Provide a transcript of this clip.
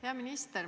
Hea minister!